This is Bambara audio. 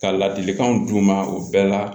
Ka ladilikanw d'u ma u bɛɛ la